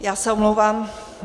Já se omlouvám.